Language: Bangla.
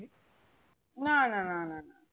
না না নানা না